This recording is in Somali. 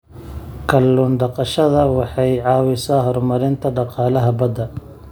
Kallun daqashada waxay caawisaa horumarinta dhaqaalaha badda.